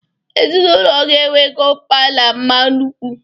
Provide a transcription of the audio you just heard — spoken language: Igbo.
Ezinaụlọ gị enwego mpa na mma nnukwu!